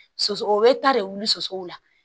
Soso o bɛ ta de wuli sosow la